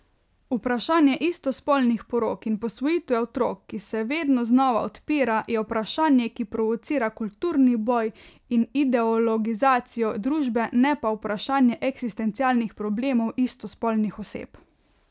Vprašanje istospolnih porok in posvojitve otrok, ki se vedno znova odpira, je vprašanje, ki provocira kulturni boj in ideologizacijo družbe, ne pa vprašanje eksistencialnih problemov istospolnih oseb.